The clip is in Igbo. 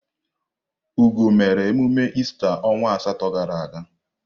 Ugo mere emume ista onwa asatọ gara aga.